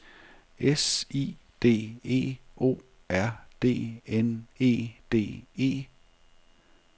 S I D E O R D N E D E